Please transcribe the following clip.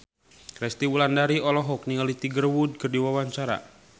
Resty Wulandari olohok ningali Tiger Wood keur diwawancara